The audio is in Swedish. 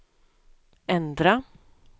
ändra